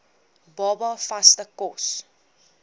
baba vaste kos